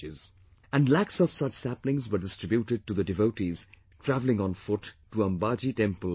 And lakhs of such saplings were distributed to the devotees traveling on foot to Ambaji temple that year